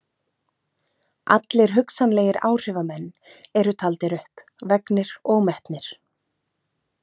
Allir hugsanlegir áhrifamenn eru taldir upp, vegnir og metnir.